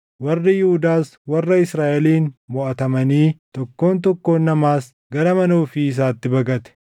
Warri Yihuudaas warra Israaʼeliin moʼatamanii tokkoon tokkoon namaas gara mana ofii isaatti baqate.